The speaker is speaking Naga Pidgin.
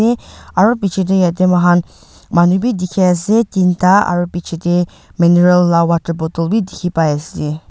te aru bichae tae yaete mohan manu bi dikhiase teen ta aro bichae tae maneral la water bottle bi dikhipaiase.